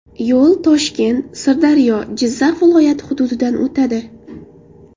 Yo‘l Toshkent, Sirdaryo, Jizzax viloyatlari hududidan o‘tadi.